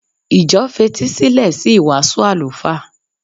Ìjọ fetísílẹ̀ sí ìwàásù àlùfáà.